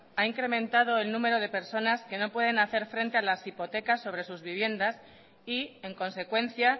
ha incrementado el número de personas que no pueden hacer frente a las hipotecas sobre sus viviendas y en consecuencia